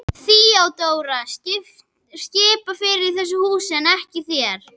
THEODÓRA: Ég skipa fyrir í þessu húsi en ekki þér.